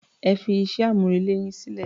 Ẹ fí iṣẹ́-amúrelé yín sílẹ̀.